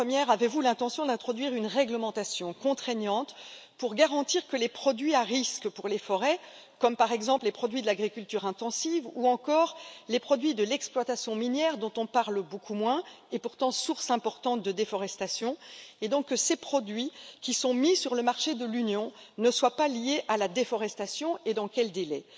La première avez vous l'intention d'introduire une réglementation contraignante pour garantir que les produits à risque pour les forêts, par exemple les produits de l'agriculture intensive ou encore les produits de l'exploitation minière dont on parle beaucoup moins et qui sont pourtant une cause importante de déforestation et donc que ces produits qui sont mis sur le marché de l'Union ne soient pas liés à la déforestation et dans quel délai?